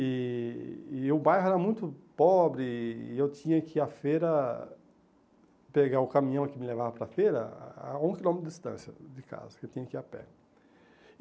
E e o bairro era muito pobre, e eu tinha que ir à feira pegar o caminhão que me levava para a feira a um quilômetro de distância de casa, porque eu tinha que ir a pé.